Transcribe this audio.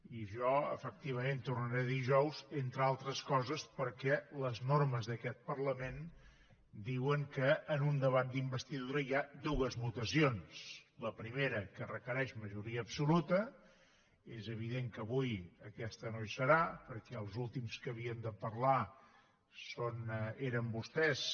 i jo efectivament tornaré dijous entre altres coses perquè les normes d’aquest parlament diuen que en un debat d’investidura hi ha dues votacions la primera que requereix majoria absoluta és evident que avui aquesta no hi serà perquè els últims que havien de parlar eren vostès